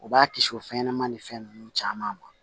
U b'a kisi o fɛnɲɛnɛma ni fɛn ninnu caman ma